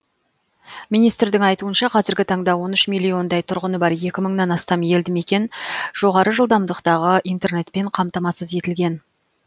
министрдің айтуынша қазіргі таңда он үш миллиондай тұрғыны бар екі мыңнан астам елді мекен жоғары жылдамдықтағы интернетпен қамтамасыз етілген